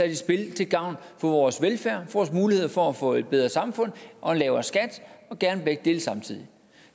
i spil til gavn for vores velfærd for muligheder for at få et bedre samfund og en lavere skat og gerne begge dele samtidig